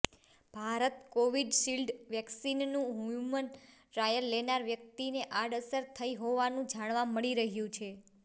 Bharat Covishield વેક્સિનનું human trial લેનાર વ્યક્તિને આડઅસર થઈ હોવાનું જાણવા મળી રહ્યું છે